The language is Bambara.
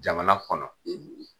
Jamana kɔnɔ,